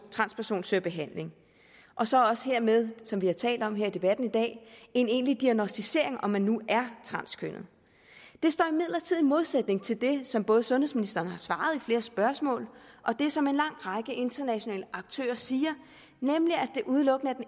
transperson søger behandling og så også hermed som vi har talt om her i debatten i dag en egentlig diagnosticering af om man nu er transkønnet det står imidlertid i modsætning til det som både sundhedsministeren har svaret på flere spørgsmål og det som en lang række internationale aktører siger nemlig at det udelukkende er